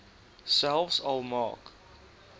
selfs al maak